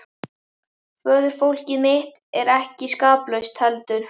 Föðurfólkið mitt er ekki skaplaust heldur.